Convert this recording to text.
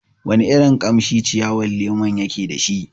Wana irin kamshi ciyawar lemon yake dashi?